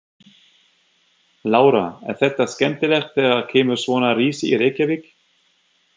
Lára: Er þetta skemmtilegt þegar kemur svona risi í Reykjavík?